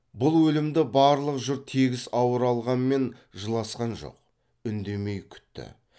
бұл өлімді барлық жұрт тегіс ауыр алғанмен жыласқан жоқ үндемей күтті